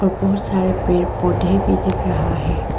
बहुत सारे पेड़ पौधे भी दिख रहा है।